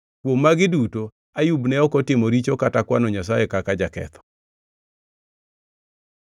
Kuom magi duto, Ayub ne ok otimo richo kata kwano Nyasaye kaka jaketho.